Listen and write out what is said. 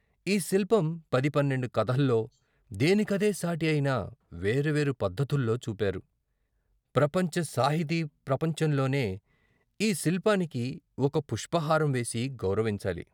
ఈ శిల్పం పది పన్నెండు కథల్లో, దేనికదే సాటి అయిన పేర్వేరు పద్ధతుల్లో చూపారు. ప్రపంచ సాహితీ ప్రపంచంలోనే ఈ శిల్పానికి ఒక పుష్పహారం వేసి గౌర వించాలి.